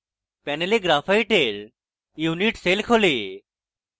panel graphite এর unit cell খোলে